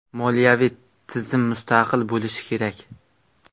Moliyaviy tizim mustaqil bo‘lishi kerak.